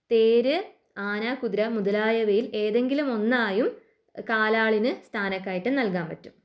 തേര് ആന കുതിര മുതലായവയിൽ ഏതെങ്കിലും ഒന്നായും കാലാളിന് സ്ഥാനക്കയറ്റം നൽകാൻ പറ്റും.